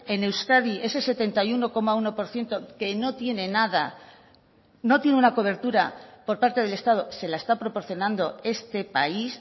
en euskadi ese setenta y uno coma uno por ciento que no tiene nada no tiene una cobertura por parte del estado se la está proporcionando este país